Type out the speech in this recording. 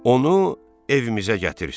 Onu evimizə gətirsin.